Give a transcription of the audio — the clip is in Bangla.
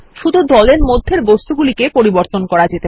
শুধু দল এর মধ্যের বস্তুগুলিকে সম্পাদনা করা যাবে